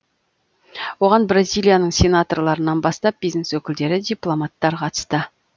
оған бразилияның сенаторларынан бастап бизнес өкілдері дипломаттар қатысты